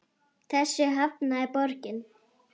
Þessu hafnaði borgin.